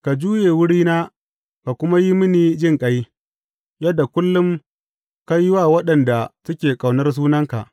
Ka juye wurina ka kuma yi mini jinƙai, yadda kullum ka yi wa waɗanda suke ƙaunar sunanka.